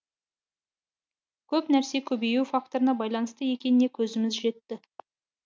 көп нәрсе көбею факторына байланысты екеніне көзіміз жетті